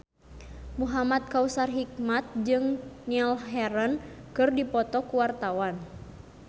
Muhamad Kautsar Hikmat jeung Niall Horran keur dipoto ku wartawan